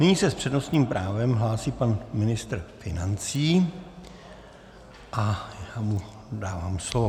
Nyní se s přednostním právem hlásí pan ministr financí a já mu dávám slovo.